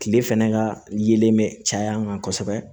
Kile fɛnɛ ka yelen bɛ caya an kan kosɛbɛ